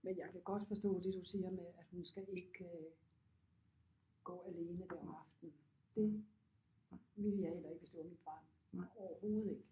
Men jeg kan godt forstå det du siger med at hun skal ikke øh gå alene der om aftenen det ville jeg heller ikke hvis det var mit barn overhovedet ikke